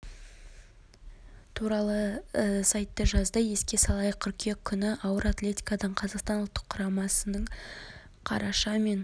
туралы сайты жазды еске салайық қыркүйек күні күні ауыр атлетикадан қазақстан ұлттық құрамасының қараша мен